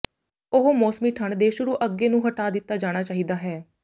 ਉਹ ਮੌਸਮੀ ਠੰਡ ਦੇ ਸ਼ੁਰੂ ਅੱਗੇ ਨੂੰ ਹਟਾ ਦਿੱਤਾ ਜਾਣਾ ਚਾਹੀਦਾ ਹੈ